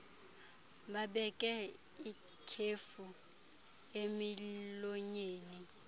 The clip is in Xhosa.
babeke itshefu emilonyeni